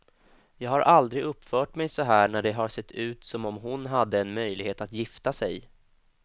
Jag har aldrig uppfört mig så här när det har sett ut som om hon hade en möjlighet att gifta sig.